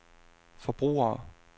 forbrugere